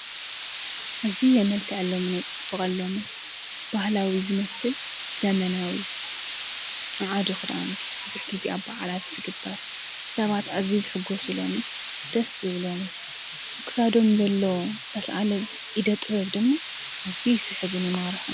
እዙይ የመልከ ዐሎም ነጸፍቕሎም ባህላዊ ዝመስል ዘመናዊ መዓድ ኽዳንቲ ብዙኅ ጊዚኣብ ብዓላት ዝግበር ሰባት እዚ ዘሕጐሱሎም ደስ ብሎም ኣክሳዶም ዘለ ተስዓለ ኢደጥወብ ድም እዙይ ይስሕብን የማርሑ::